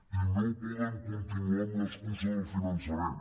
i no poden continuar amb l’excusa del finançament